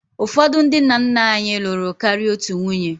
Ụfọdụ ndị nna nna anyị lụrụ karịa otu nwunye